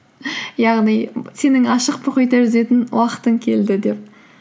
яғни сенің ашық мұхитта жүзетін уақытын келді деп